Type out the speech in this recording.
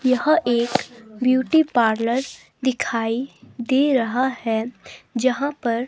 यह एक beauty parlour दिखाई दे रहा है जहां पर--